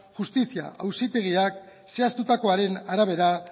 justizi auzitegiak zehaztutakoaren arabera